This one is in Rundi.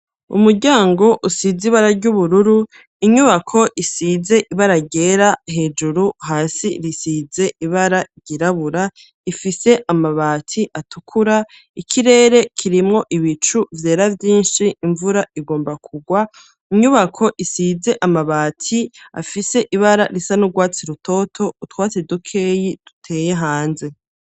Umuryango usize ibara ry'ubururu, inyubako isize ibara ryera hejuru, hasi risize ibara ryirabura, ifise amabati atukura; ikirere kirimwo ibicu vyera, vyinshi, imvura igomba kugwa, inyubako isize amabati afise ibara risa n'urwatsi rutoto, utwatsi dukeyi duteye hanze.